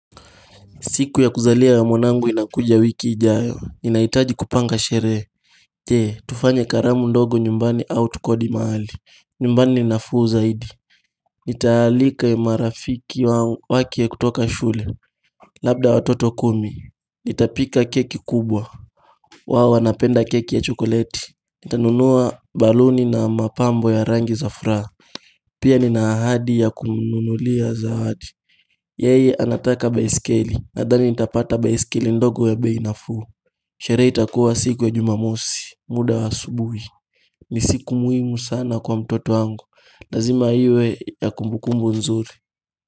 Siku ya kuzalia ya mwanangu inakuja wiki ijayo. Ninaitaji kupanga shere. Jee, tufanye gharamu ndogo nyumbani au tukodi mahali. Nyumbani ni nafuu zaidi. Nitaalika marafiki wake kutoka shule. Labda watoto kumi. Nitapika keki kubwa. Wao wanapenda keki ya chokoleti. Nitanunua baluni na mapambo ya rangi za furaha. Pia nina ahadi ya kumnulia zawadi. Yeye anataka baiskeli. Nadhani nitapata baiskeli ndogo ya bei nafuu Sherehe itakuwa siku ya jumamosi muda wa asubui ni siku muhimu sana kwa mtoto wangu lazima iwe ya kumbukumbu nzuri.